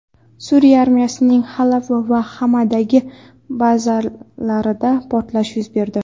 Suriya armiyasining Halab va Xamadagi bazalarida portlash yuz berdi.